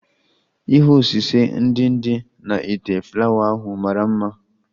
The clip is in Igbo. Ihe osise ndị dị na ite flawa ahụ mara mma